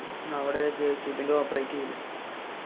അവിടെ JCB ന്റെ operate ചെയ്യില്ലേ?